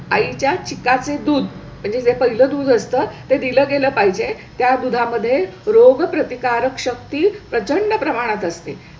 आई च्या चिका चे दूध म्हणजे जे पहिल्या दूध असतं, ते दिलं गेलं पाहिजे. त्या दुधा मध्ये रोगप्रतिकारक शक्ती प्रचंड प्रमाणात असते.